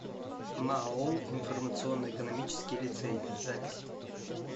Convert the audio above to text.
маоу информационно экономический лицей запись